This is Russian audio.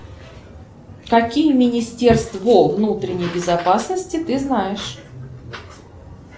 какие министерства внутренней безопасности ты знаешь